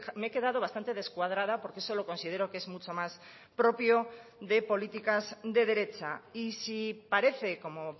me he quedado bastante descuadrada porque eso lo considero que es mucho más propio de políticas de derecha y sí parece como